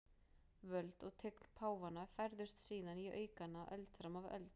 Völd og tign páfanna færðust síðan í aukana öld fram af öld.